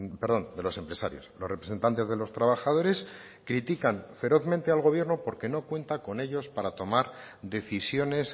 perdón de los empresarios los representantes de los trabajadores critican ferozmente al gobierno porque no cuenta con ellos para tomar decisiones